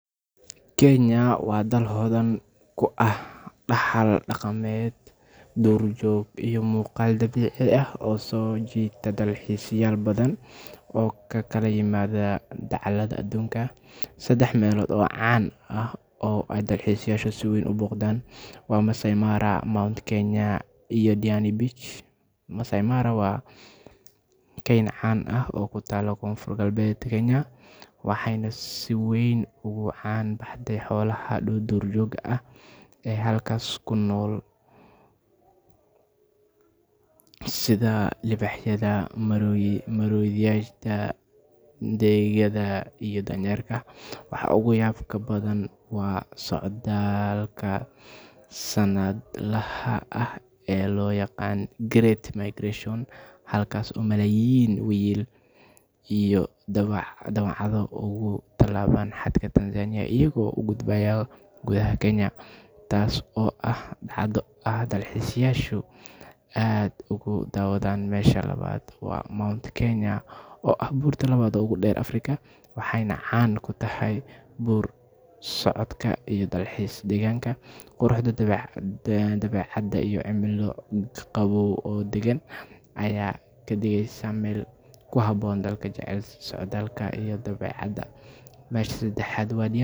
Kenya waa daal hodhan kuaah dahaal daqaamed duur joog iyo muqaal dabiici ah oo sojiita dalxiisayaal badan oo kakala yimaadan dacalaada adunka sedaax meldho oo caan ah oo ee dalxiisayasha so boqdaan Massai Mara, Mount Kenya iyo Diani Beach Massai Mara waa keen caan ah kutaalo konfur galbed ee Kenya waaxeyna sii weyn ugu caan buxaan xolaaha dhuur jooga ah ee halkas kunol sidhaa libahyadha madhoriga deegyadha iyo danyerka waaxa ugu yabka badaan waa socdalka sanad laaha ah ee lo yaqaan Great Migration halkas oo malayin wiil iyo dawaacadho ugu dalawada xaadka Tanzania iyaago ugudbayan gudaha Kenya taas oo ah hada dalxiisayashu aad ugu dawaadan mesha waa Mount Kenya oo burta ugu deer Africa waaxeyna caan kutaahay buur sacodka iyo dalxiis deegaankaga quruxda iyo dawecaada iyo cimilo qabob oo dagaan aya kadiigeysa mel kuhaabon dalka jecelkisa socdalka iyo dawecaada mesha sedaaxad waa